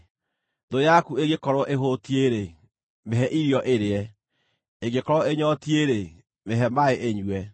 Thũ yaku ĩngĩkorwo ĩhũtiĩ-rĩ, mĩhe irio ĩrĩe; ĩngĩkorwo ĩnyootiĩ-rĩ, mĩhe maaĩ ĩnyue.